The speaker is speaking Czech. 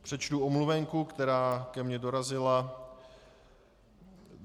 Přečtu omluvenku, která ke mně dorazila.